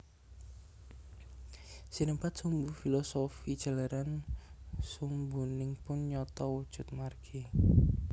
Sinebat sumbu filosofi jalaran sumbunipun nyata wujud margi